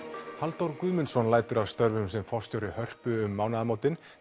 Halldór Guðmundsson lætur af störfum sem forstjóri Hörpu um mánaðamótin